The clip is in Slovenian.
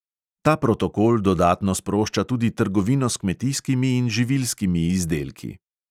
Ta protokol dodatno sprošča tudi trgovino s kmetijskimi in živilskimi izdelki.